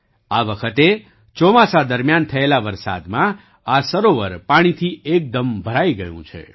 આ વખતે ચોમાસા દરમિયાન થયેલા વરસાદમાં આ સરોવર પાણીથી એકદમ ભરાઈ ગયું છે